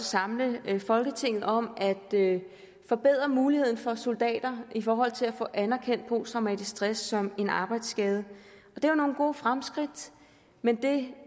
samle folketinget om at forbedre muligheden for soldater i forhold til at få anerkendt posttraumatisk stress som en arbejdsskade det er nogle gode fremskridt men det